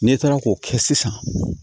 N'e taara k'o kɛ sisan